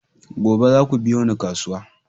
Gobe zaku biyo ni kasuwa!